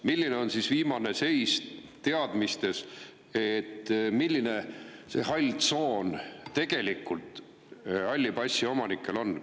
Milline on viimane teadmiste seis, milline see hall tsoon tegelikult halli passi omanike puhul on?